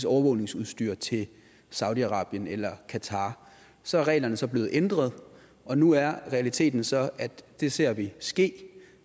overvågningsudstyr til saudi arabien eller qatar så er reglerne så blevet ændret og nu er realiteten så at det ser vi ske